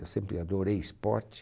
Eu sempre adorei esporte.